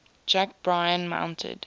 jack bryan mounted